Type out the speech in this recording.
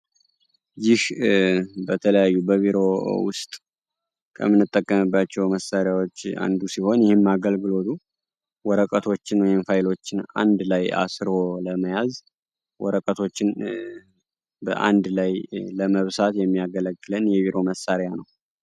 ይህ በተለያዩ በቢሮው ውስጥ ከምንጠቀምባቸው መሳሪያዎች አንዱ ሲሆን፤ ይህም አገልግሎቱ ወረቀቶችን ወይም ኃይሎችን አንድ ላይ አስሮ ለመያዝ ወረቀቶችን በ 1 ላይ ለመብሳት የሚያገለግለን የቢሮ ማሳሪያ ነው።